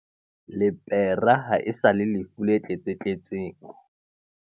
Lepera ha e sa le lefu le tletsatletseng.